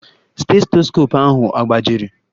Stetoskopu ahụ agbajiri?